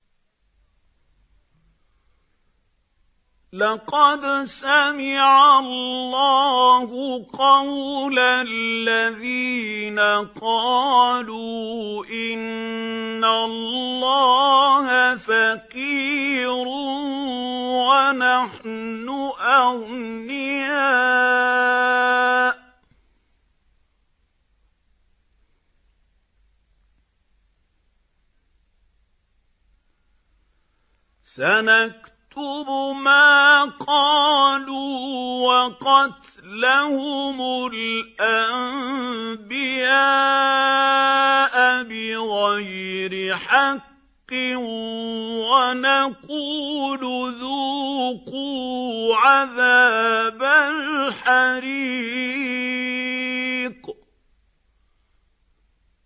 لَّقَدْ سَمِعَ اللَّهُ قَوْلَ الَّذِينَ قَالُوا إِنَّ اللَّهَ فَقِيرٌ وَنَحْنُ أَغْنِيَاءُ ۘ سَنَكْتُبُ مَا قَالُوا وَقَتْلَهُمُ الْأَنبِيَاءَ بِغَيْرِ حَقٍّ وَنَقُولُ ذُوقُوا عَذَابَ الْحَرِيقِ